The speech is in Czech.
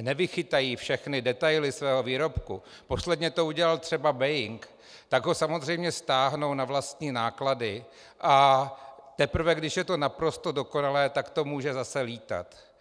nevychytají všechny detaily svého výrobku, posledně to udělal třeba Boeing, tak ho samozřejmě stáhnou na vlastní náklady, a teprve když je to naprosto dokonalé, tak to může zase lítat.